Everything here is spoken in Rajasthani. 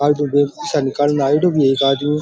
आयोडो बैंक से पैसा निकालने आयोडो भी है एक आदमी।